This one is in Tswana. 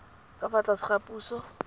ka fa tlase ga puso